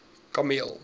kameel